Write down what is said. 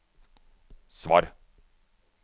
svar